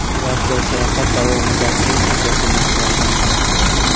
Turar joy sayohat davomidagi eng asosiy narsalardan biri.